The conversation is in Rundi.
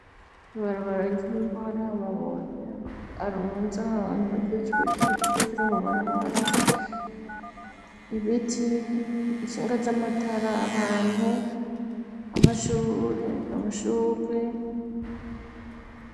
Ibarabara ry'imivara amabuya arunzi ahantu ra ciswe ritatu ture mubarabara ibiti inshinga z'amatara abantu amashurwe.